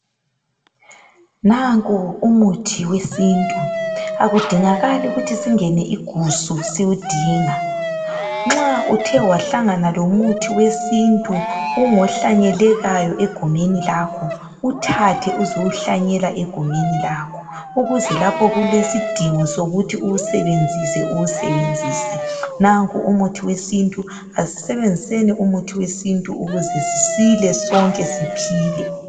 nanku umuthi wesintu akudingakali ukuthi singene igusu siwudinga nxa uthe wahlangana lomuthi wesintu ungohlanyelekayo egumeni lakho wuthathe uzowuhlanyela egumeni lakho ukuze lapho okulesidingo sokuthi uwusebenzise uwusebenzise nanku umuthi wesintu asisebenziseni umuthi wesintu ukuze sisile sonke siphile